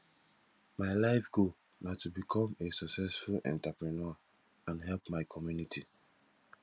my life goal na to become a successful entrepreneur and help my community